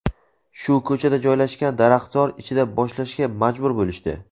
shu ko‘chada joylashgan daraxtzor ichida boshlashga majbur bo‘lishdi.